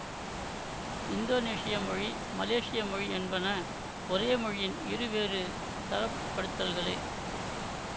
இந்தோனேசிய மொழி மலேசிய மொழி என்பன ஒரே மொழியின் இரு வேறு தரப்படுத்தல்களே